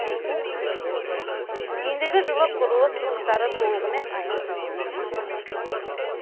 ендігі жылы құрылыс жұмыстары толығымен аяқталады